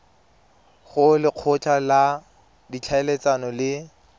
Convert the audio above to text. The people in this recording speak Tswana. go lekgotla la ditlhaeletsano le